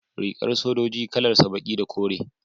rigar sojoji kalan sa baki da kore